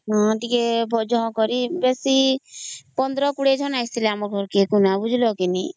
ବେଶୀ ବଡ କରି ବେଶୀ fifteen twenty ଜଣ ଆସିଥିଲେ କୁନା ବୁଝିଲା କି ନାଇଁ